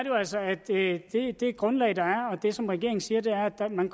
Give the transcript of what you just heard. jo altså at det grundlag der er og det som regeringen siger er at man